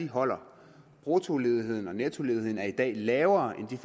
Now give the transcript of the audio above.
holder bruttoledigheden og nettoledigheden er i dag lavere end